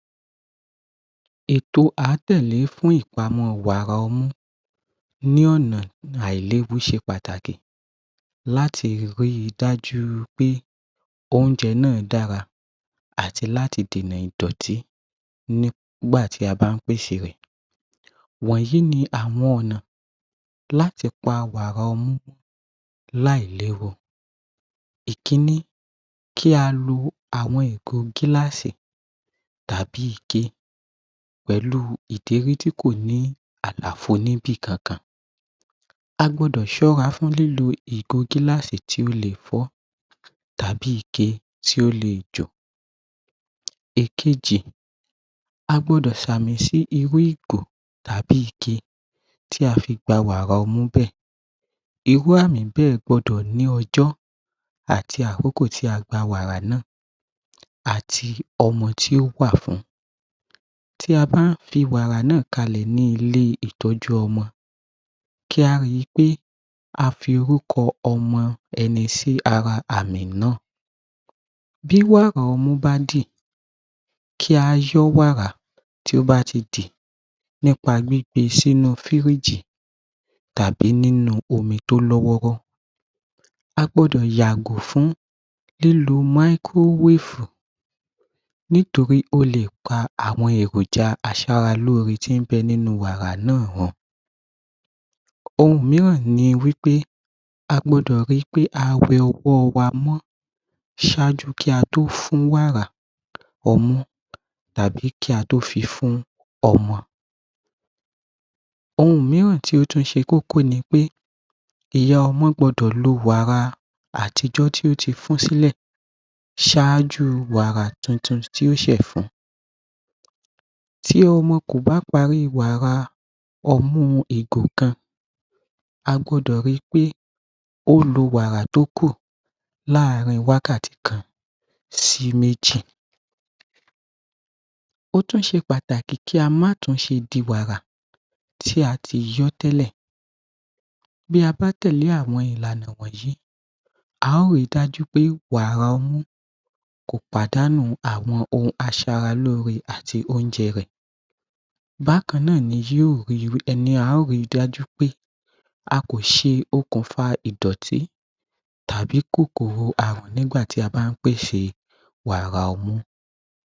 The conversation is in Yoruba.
Ètò a tẹ̀lé fún ìpámọ́ wàrà ọmú ní ọ̀nà àìléwu ṣe pàtàkì láti rí dájú pé oúnjẹ náà dára àti láti dènà ìdọ̀tí nígbà tí a bá pèsè rẹ̀. Wọ̀nyí ni àwọn ọ̀nà láti pa wàrà ọmú láì léwu. Ìkíní. Kí a lo àwọn ìgò gílásì tàbí ike pẹ̀lú ìdérí tí kò ní àlàfo níbì kankan. A gbọdọ̀ ṣọ́ra fún lílo ìgò gílásì tí ó lè fọ́ tàbí ike tí ó lè jò. Ìkejì. A gbọdọ̀ ṣàmì sí inú ìgò tàbí ike tí a fi gbà wàrà ọmú bẹ́ẹ̀. Irú àmì bẹ́ẹ̀ gbọdọ̀ ní ọjọ́ àti àkókò tí a gba wàrà náà àti ọmọ tí ó wa fún un. Tí a bá fi wàrà náà kalẹ̀ ní ilé ìtọ́jú ọmọ kí a rí pé a fi orúkọ ọmọ ẹni sí ara àmì náà. Bí wàrà ọmú bá dì kí a yọ́ wàrà tí o bá ti dì nípa gbígbé sínu fírígì tàbí nínú omi tó lọ́ wọ́ọ́rọ́. A gbọdọ̀ yàgò fún lílo máíkó wèfù nítorí o lè pa àwọn èròjà aṣaralóre tí bẹ nínú wàrà náà. Ohun mìíràn ni wí pé a gbọdọ̀ rí pé a wẹ̀ ọwọ́ wa mọ́ ṣáájú kí a tó fún wàrà ọmú tàbí kí a tó fifún ọmọ. Ohun mìíràn tí ó tún ṣe kókó ni pé ìyá ọmọ gbọdọ̀ lọ wàrà àtijọ́ tí ó ti fún sílẹ̀ ṣáájú wàrà tuntun tí ó ṣe fún. Ti ọmọ kò bá parí wàrà ọmú ìgò kan, a gbọdọ̀ ri pé ó lo wàrà tókù láàárín wákàtí kan sí méjì. Ó tún ṣe pàtàkì kí a máa tún ṣe di wàrà tí a tí yọ́ tẹ́lẹ̀. Bí a bá tẹ̀lé àwọn ìlànà wọ̀nyí a ó ri dájú pé wàrà ọmú kò pàdánù àwọn aṣaralóre àti oúnjẹ rẹ̀. Bákan náà ni um um ri dájú pé a kò ṣe okùnfà ìdọ̀tí tàbí kòkòrò àrùn nígbà tí a bá pèsè wàrà ọmú.